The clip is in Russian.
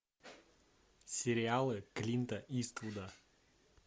сериалы клинта иствуда